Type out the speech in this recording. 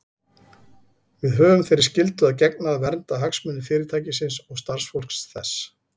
Við höfum þeirri skyldu að gegna að vernda hagsmuni Fyrirtækisins og starfsfólks þess.